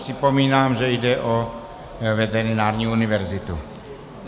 Připomínám, že jde o veterinární univerzitu.